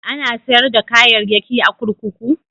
Ana sayar da kayayyaki a kurkuku?